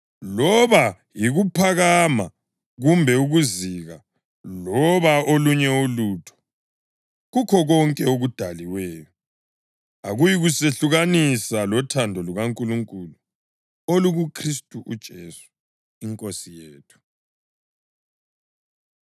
loba kuyikuphakama kumbe ukuzika, loba olunye ulutho kukho konke okudaliweyo, akuyikusehlukanisa lothando lukaNkulunkulu olukuKhristu uJesu iNkosi yethu.